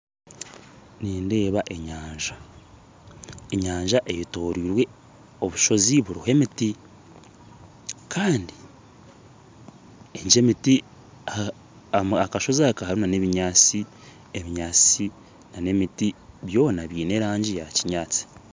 Nindeba enyanja eyetoreirwe obushozi buriho emiti kandi aha kashozi aka hariho obinyaatsi na emiti byona bine erangi ya kinyaatsi.